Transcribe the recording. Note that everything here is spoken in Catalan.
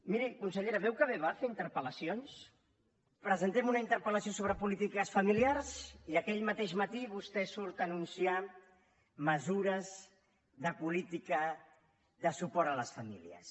miri consellera veu que bé va fer interpel·lacions presentem una interpel·lació sobre polítiques familiars i aquell mateix matí vostè surt a anunciar mesures de política de suport a les famílies